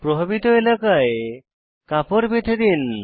প্রভাবিত এলাকায় কাপড বেঁধে দিন